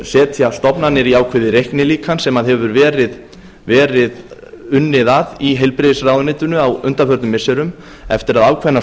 setja stofnanir í ákveðið reiknilíkan sem hefur verið unnið að í heilbrigðisráðuneytinu á undanförnum missirum eftir að ákveðnar